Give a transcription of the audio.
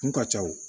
Kun ka ca o